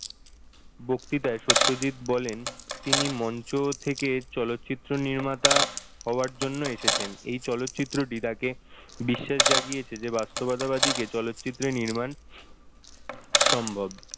বক্তৃতায় সত্যজিৎ বলেন তিনি মঞ্চ থেকে চলচ্চিত্র নির্মাতা হওয়ার জন্য এসেছেন এই চলচ্চিত্রটি তাকে বিশ্বাস জাগিয়েছে যে বাস্তবতাবাদী কে চলচ্চিত্র নির্মাণ সম্ভব।